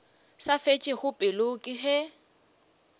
sa fetšego pelo ke ge